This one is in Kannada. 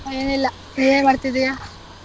ಏನಿಲ್ಲ ನೀನೇನ್ ಮಾಡ್ತಿದೀಯಾ.